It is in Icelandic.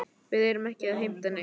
Við erum ekki að heimta neitt.